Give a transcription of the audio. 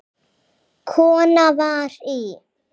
Kona var í